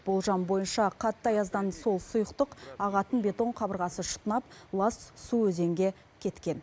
болжам бойынша қатты аяздан сол сұйықтық ағатын бетон қабырғасы шытынап лас су өзенге кеткен